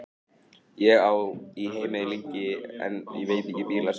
Ég sat á rúmstokknum mínum lengi, hversu lengi veit ég ekki.